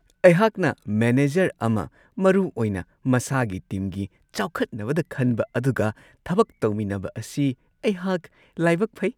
ꯑꯩꯍꯥꯛꯅ ꯃꯦꯅꯦꯖꯔ ꯑꯃ ꯃꯔꯨꯑꯣꯏꯅ ꯃꯁꯥꯒꯤ ꯇꯤꯝꯒꯤ ꯆꯥꯎꯈꯠꯅꯕꯗ ꯈꯟꯕ ꯑꯗꯨꯒ ꯊꯕꯛ ꯇꯧꯃꯤꯟꯅꯕ ꯑꯁꯤ ꯑꯩꯍꯥꯛ ꯂꯥꯏꯕꯛ ꯐꯩ ꯫